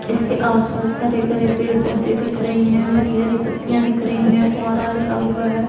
इसके आसपास हरे भरे पेड़ पौधे दिख रहें हैं हरी हरी पत्तियां दिख रहीं हैं फुवारा लगा हुआ हैं।